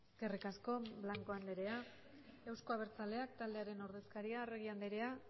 eskerrik asko blanco andrea euzko abertzaleak taldearen ordezkaria arregi andrea